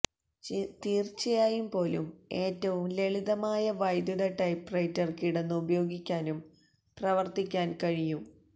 തീർച്ചയായും പോലും ഏറ്റവും ലളിതമായ വൈദ്യുത ടൈപ്പ്റൈറ്റർ കിടന്നു ഉപയോഗിക്കാനും പ്രവർത്തിക്കാൻ കഴിയും